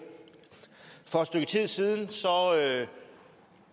for et stykke tid siden